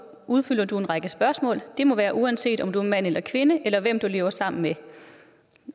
udfylder du en række spørgsmål det må være uanset om du er mand eller kvinde eller hvem du lever sammen med